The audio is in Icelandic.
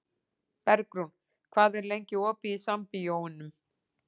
Bergrún, hvað er lengi opið í Sambíóunum?